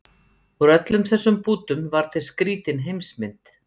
Úr öllum þessum bútum varð til skrýtin heimsmynd